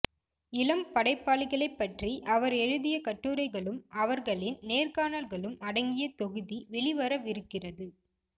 இளம் படைப்பா ளிகளைப்பற்றி அவர் எழுதிய கட்டுரைகளும் அவர்களின் நேர்காணல்களும் அடங்கிய தொகுதி வெளிவரவிருக்கிறது